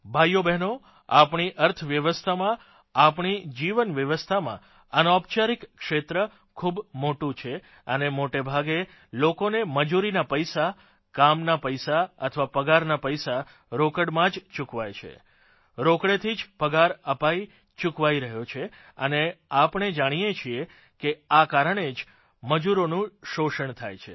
ભાઇઓબહેનો આપણી અર્થવ્યવસ્થામાં આપણી જીવન વ્યવસ્થામાં અનૈપચારિક ક્ષેત્ર ઇન્ફોર્મલ સેક્ટર ખૂબ મોટું છે અને મોટાભાગે લોકોને મજૂરીના પૈસા કામના પૈસા અથવા પગારના પૈસા રોકડમાં જ ચૂકવાય છે રોકડેથી જ પગાર અપાઇ ચૂકવાઇ રહ્યો છે અને આપણે જાણીએ છીએ કે આ કારણે જ મજૂરોનું શોષણ થાય છે